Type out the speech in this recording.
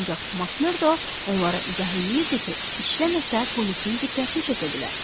Ancaq Makmerdo onlara izah eləyirdi ki, işləməsə polisin diqqətini çəkə bilər.